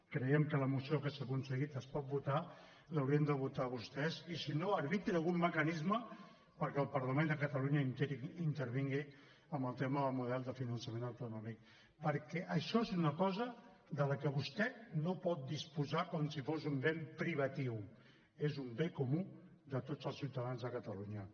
creiem que la moció que s’ha aconseguit es pot votar l’haurien de votar vostès i si no arbitri algun mecanisme perquè el parlament de catalunya intervingui en el tema del model de finançament autonòmic perquè això és una cosa de la que vostè no pot disposar com si fos un bé privatiu és un bé comú de tots els ciutadans de catalunya